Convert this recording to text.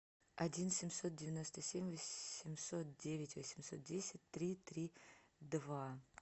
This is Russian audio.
один семьсот девяносто семь восемьсот девять восемьсот десять три три два